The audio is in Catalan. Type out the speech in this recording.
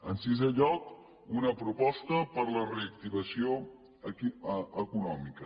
en sisè lloc una proposta per la reactivació econòmica